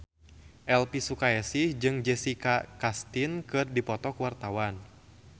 Elvy Sukaesih jeung Jessica Chastain keur dipoto ku wartawan